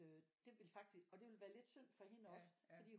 Øh det ville faktisk og det ville være lidt synd for hende også fordi